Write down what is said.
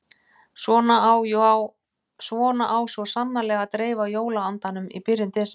Svona á svo sannarlega að dreifa jóla-andanum í byrjun desember.